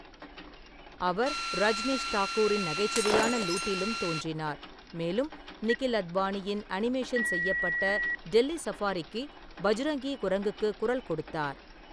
அவர் ரஜ்னிஷ் தாக்கூரின் நகைச்சுவையான லூட்டிலும் தோன்றினார், மேலும் நிகில் அத்வானியின் அனிமேஷன் செய்யப்பட்ட டெல்லி சஃபாரிக்கு பஜ்ரங்கி குரங்குக்கு குரல் கொடுத்தார்.